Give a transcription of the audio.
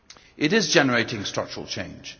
It is generating structural change.